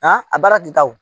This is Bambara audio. An a baara tɛ taa o.